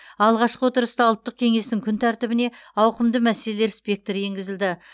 алғашқы отырыста ұлттық кеңестің күн тәртібіне ауқымды мәселелер спектрі енгізілді